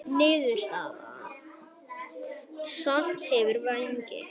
Niðurstaða: Snati hefur vængi.